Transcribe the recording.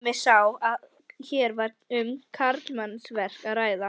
Tommi sá að hér var um karlmannsverk að ræða.